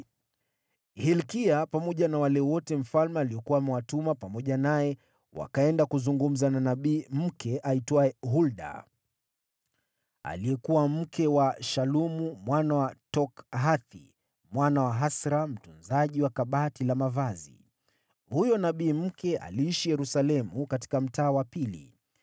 Hilkia pamoja na wale wote mfalme aliokuwa amewatuma pamoja naye wakaenda kuzungumza na nabii mke aitwaye Hulda, aliyekuwa mke wa Shalumu mwana wa Tokhathi, mwana wa Hasra mtunzaji wa chumba cha mavazi. Hulda aliishi Yerusalemu, katika Mtaa wa Pili.